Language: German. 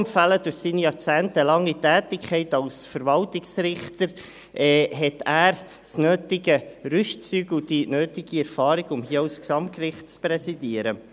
Durch seine jahrzehntelange Tätigkeit als Verwaltungsrichter hat er das nötige Rüstzeug und die nötige Erfahrung, um hier auch das Gesamtgericht zu präsidieren.